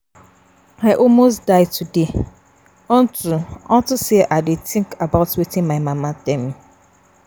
I almost die today unto unto say I dey think about wetin my mama tell me